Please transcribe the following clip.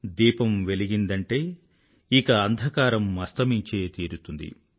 దీపం వెలిగిందంటే ఇక అంధకారం అస్తమించే తీరుతుంది